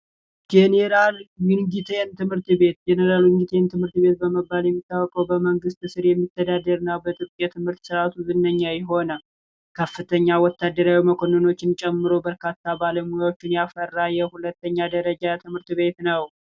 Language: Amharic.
ጄኔራል ዊንግቴን ትምህርት ቤት ጄነራል ዊንግቴን ትምህርት ቤት በመባል የሚታወቀው በመንግሥት ስር የሚተዳደር እና በትምህርት ስርዓቱ ዝነኛ የሆነ ከፍተኛ ወታደራዊ መኮንኖችን ጨምሮ ብዙ ባለሙያዎችን ያፈራ የሁለተኛ ደረጃ ትምህርት ቤት ነው።